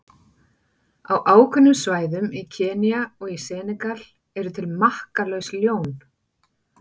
Á ákveðnum svæðum í Kenía og í Senegal eru til makkalaus ljón.